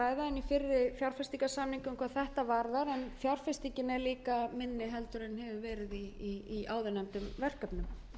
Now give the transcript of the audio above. þetta varðar en fjárfestingin er líka minni en verið hefur í áðurnefndum verkefnum